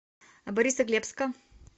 борисоглебска